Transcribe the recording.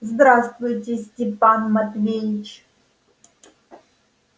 здравствуйте степан матвеич